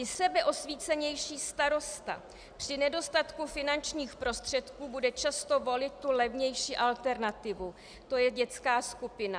I sebeosvícenější starosta při nedostatku finančních prostředků bude často volit tu levnější alternativu, to je dětská skupina.